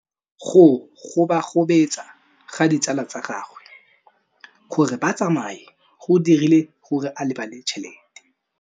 Go gobagobetsa ga ditsala tsa gagwe, gore ba tsamaye go dirile gore a lebale tšhelete.